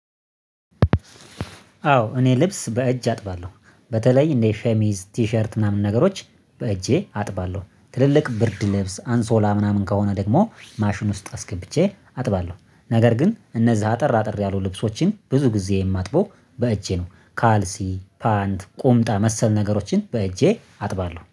አዎ እኔ ልብስ በእጅ አጥባለሁ። በተለይ እንደ ሸሚዝ ቲሸርት ምናምን ነገሮች በእጄ አጥባለሁ ትልልቅ ብርድ ልብስ አንሶላ ምናምን ከሆነ ደግሞ ማሽን ውስጥ አስገብቼ አጥባለሁ። ነገር ግን እነዛ አጠር አጠር ያሉ ልብሶችን ብዙ ጊዜ የማጥበው በእጄ ነው። ካልሲ ፓንት ቁምጣ መሰል ነገሮችን በእጄ አጥባለሁ